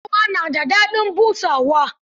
Sarewa na da daɗin busawa.